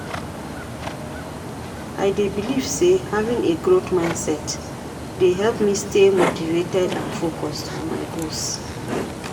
I dey believe say having a growth mindset dey help me stay motivated and focused on my goals.